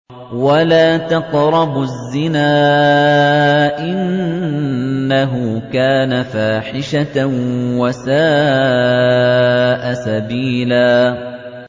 وَلَا تَقْرَبُوا الزِّنَا ۖ إِنَّهُ كَانَ فَاحِشَةً وَسَاءَ سَبِيلًا